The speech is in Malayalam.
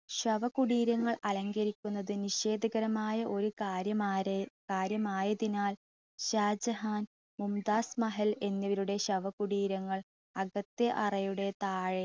ശവ കുടീരങ്ങൾ അലങ്കരിച്ചിരിക്കുന്നത് ഒരു നിഷേധകരമായ കാര്യമായതിനാൽ ഷാജഹാൻ മുംതാസ് മഹൽ എന്നിവരുടെ ശവ കുടീരങ്ങൾ അകത്തെ അറയുടെ താഴെ